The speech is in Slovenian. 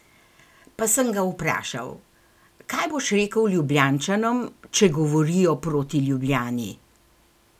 Pa sem ga vprašal: "Kaj boš rekel Ljubljančanom, če govorijo proti Ljubljani?